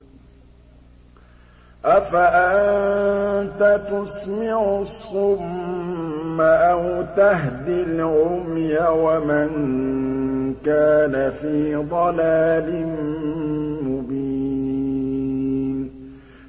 أَفَأَنتَ تُسْمِعُ الصُّمَّ أَوْ تَهْدِي الْعُمْيَ وَمَن كَانَ فِي ضَلَالٍ مُّبِينٍ